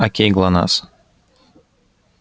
окей глонассс